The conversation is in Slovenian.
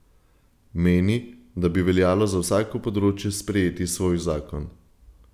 Meni, da bi veljalo za vsako področje sprejeti svoj zakon.